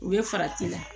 U bɛ farati la